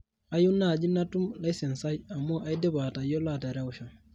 kayieu naaji natum licence aai amu aidipa atayiolo aterewisho